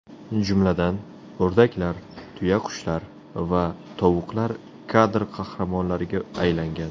Jumladan, o‘rdaklar, tuyaqushlar va tovuqlar kadr qahramonlariga aylangan.